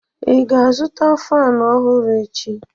ị ga-azụta fan ọhụrụ echi?